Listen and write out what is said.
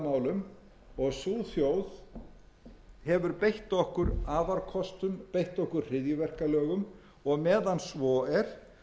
málum og sú þjóð hefur beitt okkur afarkostum beitt okkur hryðjuverkalögum og meðan svo er